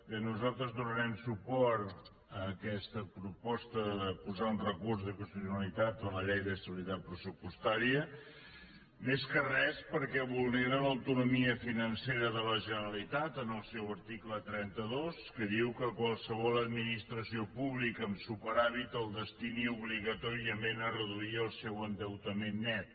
bé nosaltres donarem suport a aquesta proposta de posar un recurs d’inconstitucionalitat a la llei d’estabilitat pressupostària més que res perquè vulnera l’autonomia financera de la generalitat en el seu article trenta dos que diu que qualsevol administració pública amb superàvit el destini obligatòriament a reduir el seu endeutament net